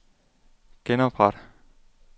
genopret